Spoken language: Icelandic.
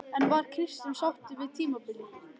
En var Kristján sáttur við tímabilið?